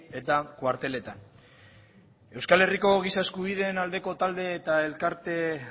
eta kuarteletan euskal herriko giza eskubideen aldeko talde eta elkarte